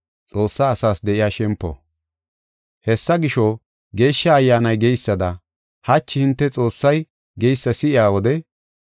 Hessa gisho, Geeshsha Ayyaanay geysada, “Hachi hinte Xoossay geysa si7iya wode,